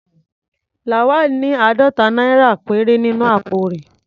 Lawal ní àádọ́ta náírà péré nínú àpò rẹ̀.